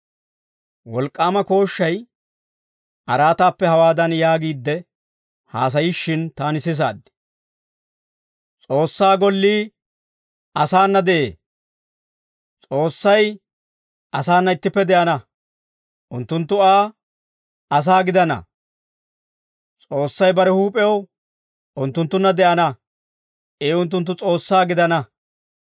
Wolk'k'aama kooshshay araataappe hawaadan yaagiidde, haasayishshin, taani sisaad; «S'oossaa gollii asaana de'ee; S'oossay asaana ittippe de'ana. Unttunttu Aa asaa gidana; S'oossay bare huup'ew unttunttunna de'ana. I unttunttu S'oossaa gidana.